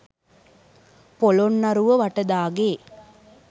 Polonnaruwa Vatadage,